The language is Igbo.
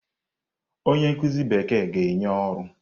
Onye nkuzi Bekee ga-enye ọrụ.